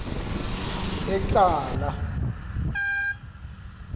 ecala